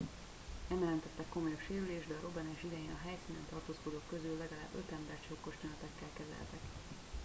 nem jelentettek komolyabb sérülést de a robbanás idején a helyszínen tartózkodók közül legalább öt embert sokkos tünetekkel kezeltek